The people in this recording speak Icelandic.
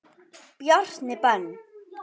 Bjarni Ben.